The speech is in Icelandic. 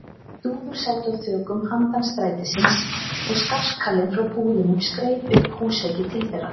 Dúfur sátu á þökum handan strætisins, og skarkalinn frá búðunum skreið upp húsveggi til þeirra.